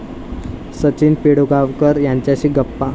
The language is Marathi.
सचिन पिळगावकर यांच्याशी गप्पा